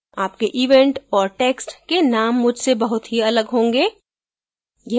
आपके event और text के names मुझसे बहुत ही अलग होंगे